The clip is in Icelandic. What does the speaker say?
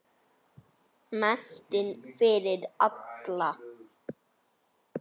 Menntun fyrir alla.